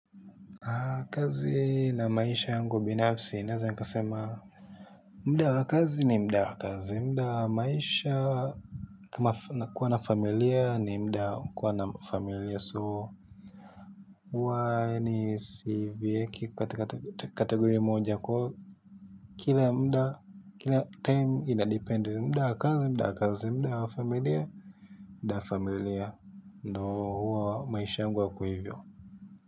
Kazi na maisha yangu binafsi naeza nikasema muda wa kazi ni muda wa kazi muda wa maisha na kuwa na familia ni muda wa kuwa na familia so huwa siviweki kwa kategori moja kwa hiyo kila muda kila time inadepend muda wa kazi muda wa kazi muda wa familia muda wa familia ndo huwa maisha yangu yako hivyo.